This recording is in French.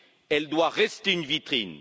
Elle doit rester une vitrine.